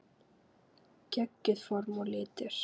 Geggjuð form og litir.